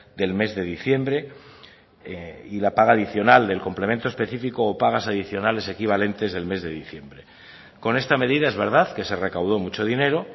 del mes de diciembre y la paga adicional del complemento específico o pagas adicionales equivalentes del mes de diciembre con esta medida es verdad que se recaudó mucho dinero